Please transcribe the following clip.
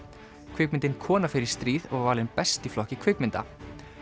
kvikmyndin kona fer í stríð var valin best í flokki kvikmynda